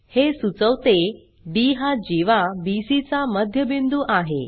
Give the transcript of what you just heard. हे सुचवते डी हा जीवा बीसी चा मध्यबिंदू आहे